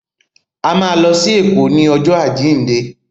A má lọ sí Èkó ní ọjọ́ àjíǹde.